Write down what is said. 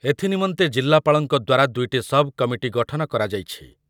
ଏଥି ନିମନ୍ତେ ଜିଲ୍ଲାପାଳଙ୍କ ଦ୍ୱାରା ଦୁଇଟି ସବ୍ କମିଟି ଗଠନ କରାଯାଇଛି।